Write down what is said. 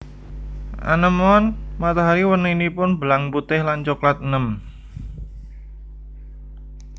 Anémon matahari warninipun belang putih lan coklat enèm